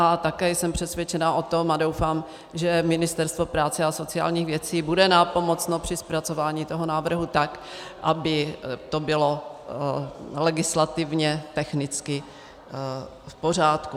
A také jsem přesvědčena o tom, a doufám, že Ministerstvo práce a sociálních věcí bude nápomocno při zpracování toho návrhu, tak aby to bylo legislativně technicky v pořádku.